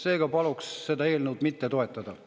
Seega paluks seda eelnõu mitte toetada.